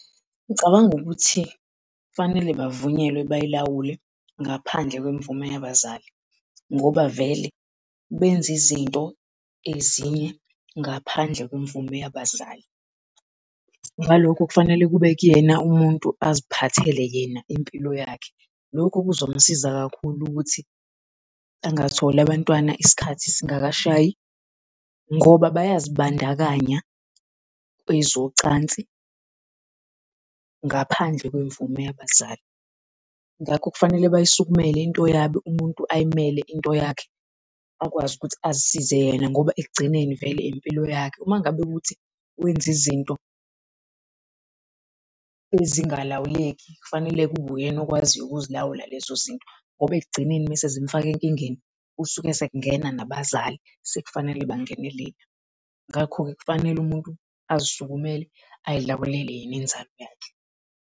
Ngicabanga ukuthi kufanele bavunyelwe bayilawule ngaphandle kwemvume yabazali, ngoba vele benze izinto ezinye ngaphandle kwemvume yabazali. Ngalokho kufanele kube kuyena umuntu aziphathele yena impilo yakhe. Lokho kuzomsiza kakhulu ukuthi angatholi abantwana isikhathi singakashayi, ngoba bayazibandakanya kwezocansi ngaphandle kwemvume yabazali. Ngakho kufanele bayisukumele lento yabo umuntu ayimele into yakhe akwazi ukuthi asisize yena, ngoba ekugcineni vele impilo yakhe. Uma ngabe kuwukuthi wenza izinto ezingalawuleki kufanele kube uyena okwaziyo ukuzilawula lezo zinto, ngoba ekugcineni mesezimufaka enkingeni usuke sekungena nabazali sekufanele bangenelele, ngakho-ke kufanele umuntu azisukumele azilawulele yena onzalo yakhe.